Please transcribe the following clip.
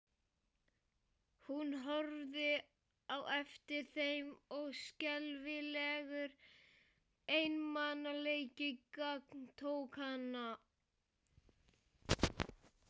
Hún horfði á eftir þeim og skelfilegur einmanaleiki gagntók hana.